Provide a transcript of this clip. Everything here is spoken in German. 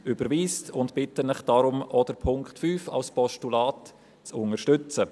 Deshalb bitte ich Sie, auch den Punkt 5 als Postulat zu unterstützen.